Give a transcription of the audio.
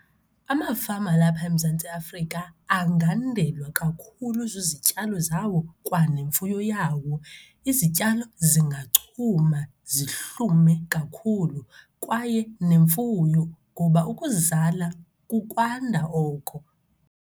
Amafama walapha eMzantsi Afrika angandelwa kakhulu zizityalo zawo kwanemfuyo yawo. Izityalo zingachuma zihlume kakhulu kwaye nemfuyo ngoba ukuzala kukwanda oko.